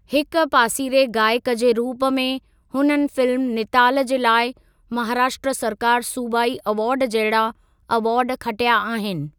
हिक पासीरे गाइकु जे रूप में, हुननि फिल्म निताल जे लाइ महाराष्ट्र सरकारु सूबाइ अवार्ड जहिड़ा अवार्ड खटिया आहिनि।